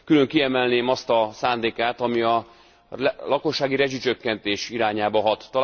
Külön kiemelném azt a szándékát, ami a lakossági rezsicsökkentés irányába hat.